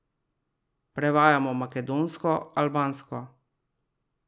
Prevajamo makedonsko, albansko ...